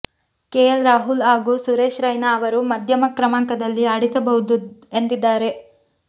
KL Rahul ಹಾಗೂ ಸುರೇಶ್ ರೈನಾ ಅವರು ಮಧ್ಯಮ ಕ್ರಮಾಂಕದಲ್ಲಿ ಆಡಿಸಬಹುದು ಎಂದಿದ್ದಾರೆ